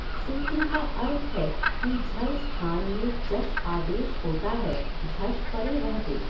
सूत्र का अर्थ है कि झल् स्थान में जश् आदेश होता है झश् परे रहते।